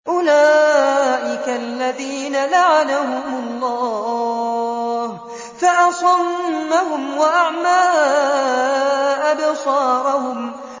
أُولَٰئِكَ الَّذِينَ لَعَنَهُمُ اللَّهُ فَأَصَمَّهُمْ وَأَعْمَىٰ أَبْصَارَهُمْ